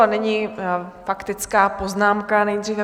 A nyní faktická poznámka, nejdříve...